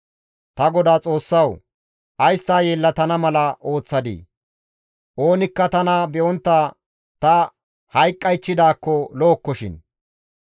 «Ta Godaa Xoossawu! Ays ta yelettana mala ooththadii? Oonikka tana be7ontta ta hayqqaychchidaakko lo7okkoshin!